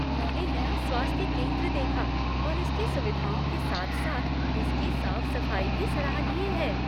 मैंने नया स्वास्थ्य केंद्र देखा और इसकी सुविधाओं के साथ साथ इसकी साफ सफाई भी सराहनीय है।